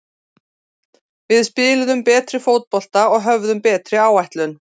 Við spiluðum betri fótbolta og höfðum betri áætlun.